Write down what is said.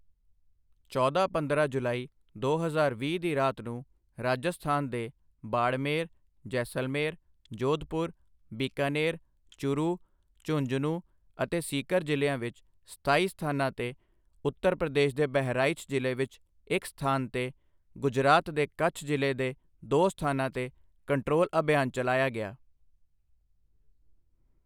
ਚੌਦਾਂ ਪੰਦਰਾਂ ਜੁਲਾਈ, ਦੋ ਹਜ਼ਾਰ ਵੀਹ ਦੀ ਰਾਤ ਨੂੰ ਰਾਜਸਥਾਨ ਦੇ ਬਾੜਮੇਰ, ਜੈਸਲਮੇਰ, ਜੋਧਪੁਰ, ਬੀਕਾਨੇਰ, ਚੁਰੂ, ਝੁੰਝੁਨੂ ਅਤੇ ਸੀਕਰ ਜ਼ਿਲ੍ਹਿਆਂ ਵਿੱਚ ਸਤਾਈ ਸਥਾਨਾਂ ਤੇ, ਉੱਤਰ ਪ੍ਰਦੇਸ਼ ਦੇ ਬਹਰਾਈਚ ਜ਼ਿਲ੍ਹੇ ਵਿੱਚ ਇੱਕ ਸਥਾਨ ਤੇ, ਗੁਜਰਾਤ ਦੇ ਕੱਛ ਜ਼ਿਲ੍ਹੇ ਦੇ ਦੋ ਸਥਾਨਾਂ ਤੇ ਕੰਟਰੋਲ ਅਭਿਆਨ ਚਲਾਇਆ ਗਿਆ।